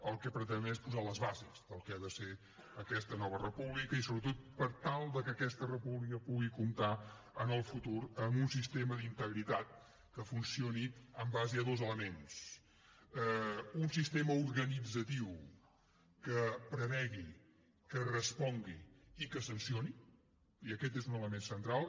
el que pretenem és posar les bases del que ha de ser aquesta nova república i sobretot per tal que aquesta república pugui comptar en el futur amb un sistema d’integritat que funcioni en base a dos elements un sistema organitzatiu que prevegi que respongui i que sancioni i aquest és un element central